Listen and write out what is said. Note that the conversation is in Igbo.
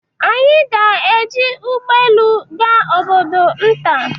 Anyị ga-eji ụgbọ elu gaa obodo nta.